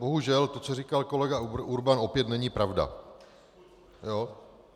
Bohužel to, co říkal kolega Urban, opět není pravda.